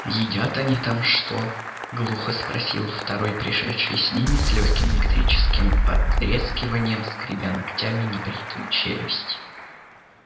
едят они там что глухо спросил второй пришедший с ними с лёгким электрическим потрескиванием скребя ногтями небритую челюсть